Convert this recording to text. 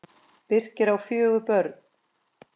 Birkir á fjögur börn.